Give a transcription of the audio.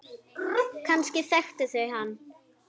Kannski þekktu þau hann.